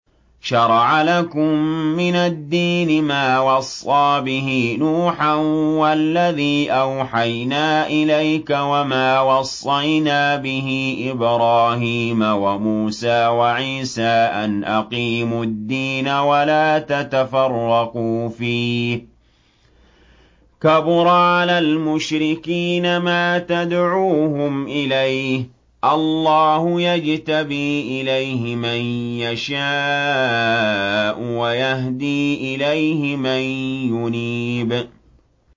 ۞ شَرَعَ لَكُم مِّنَ الدِّينِ مَا وَصَّىٰ بِهِ نُوحًا وَالَّذِي أَوْحَيْنَا إِلَيْكَ وَمَا وَصَّيْنَا بِهِ إِبْرَاهِيمَ وَمُوسَىٰ وَعِيسَىٰ ۖ أَنْ أَقِيمُوا الدِّينَ وَلَا تَتَفَرَّقُوا فِيهِ ۚ كَبُرَ عَلَى الْمُشْرِكِينَ مَا تَدْعُوهُمْ إِلَيْهِ ۚ اللَّهُ يَجْتَبِي إِلَيْهِ مَن يَشَاءُ وَيَهْدِي إِلَيْهِ مَن يُنِيبُ